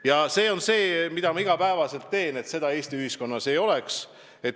Ja see on see, mida ma iga päev teen – et viha külvamist Eesti ühiskonnas ei oleks.